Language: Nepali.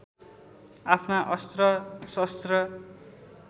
आफ्ना अस्त्र शस्त्र